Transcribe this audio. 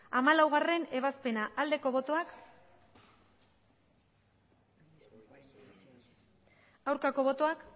hamalaugarrena ebazpena aldeko botoak aurkako botoak